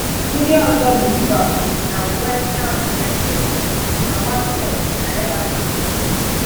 Ndị ọzọ bụ Liverpool na West Ham United, na Watford na Everton.